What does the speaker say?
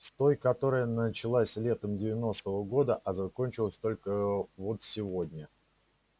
с той которая началась летом девяностого года а закончилась только вот сегодня